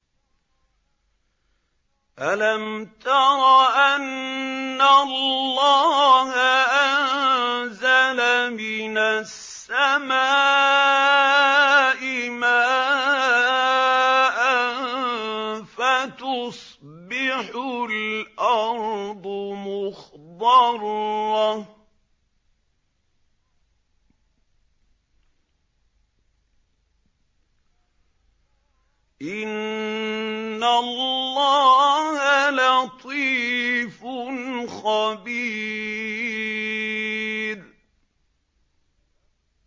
أَلَمْ تَرَ أَنَّ اللَّهَ أَنزَلَ مِنَ السَّمَاءِ مَاءً فَتُصْبِحُ الْأَرْضُ مُخْضَرَّةً ۗ إِنَّ اللَّهَ لَطِيفٌ خَبِيرٌ